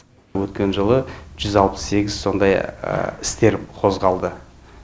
өткен жылы жүз алпыс сегіз сондай істер қозғалды